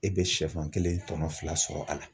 E bɛ sɛfan kelen , tɔnɔ fila sɔrɔ a la.